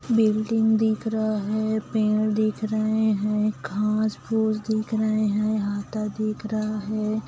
Building दिख रहा है पेड़ दिख रहे हैं घास फूस दिख रहे हैं आता दिख रहा है।